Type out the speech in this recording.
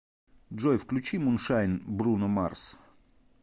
джой включи муншайн бруно марс